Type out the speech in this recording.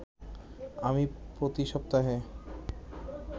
আমি প্রতি সপ্তাহে